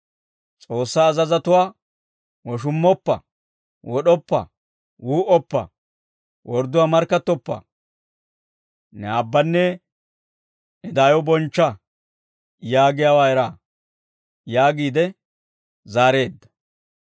S'oossaa azazatuwaa, ‹Woshummoppa, wod'oppa, wuu"oppa, wordduwaa markkattoppa, ne aabbanne ne daayo bonchcha yaagiyaawaa eraa› » yaagiide zaareedda.